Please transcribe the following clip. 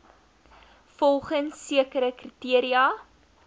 volgens sekere kriteria